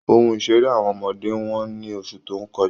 Ohun ìṣeré àwọn ọmọdé wọ́n ní oṣù tó kọjá